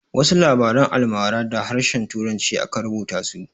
Wasu labaran almarar da harshen turanci aka rubuta su.